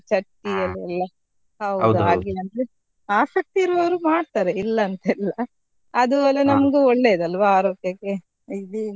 ಚಟ್ಟಿ ಅಲ್ಲೆಲ್ಲ ಆಸಕ್ತಿ ಇರುವವರು ಮಾಡ್ತಾರೆ ಇಲ್ಲಂತಿಲ್ಲ, ಅದು ನಮ್ಗು ಒಳ್ಳೇಯದಲ್ವಾ ಆರೋಗ್ಯಕ್ಕೆ.